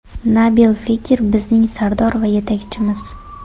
Nabil Fekir bizning sardor va yetakchimiz.